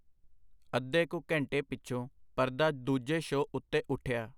ਅੱਧੇ ਕੁ ਘੰਟੇ ਪਿਛੋਂ ਪਰਦਾ ਦੂਜੇ ਸ਼ੋ ਉੱਤੇ ਉੱਠਿਆ.